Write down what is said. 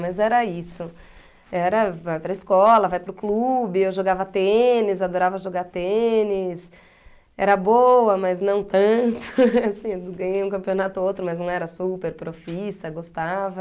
Mas era isso, era vai para a escola, vai para o clube, eu jogava tênis, adorava jogar tênis, era boa, mas não tanto, assim, ganhei um campeonato ou outro, mas não era super profissa, gostava...